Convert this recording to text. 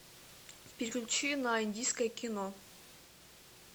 переключи на индийское кино